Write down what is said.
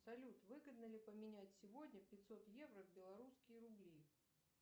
салют выгодно ли поменять сегодня пятьсот евро в белорусские рубли